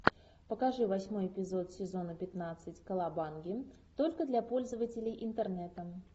покажи восьмой эпизод сезона пятнадцать колобанги только для пользователей интернета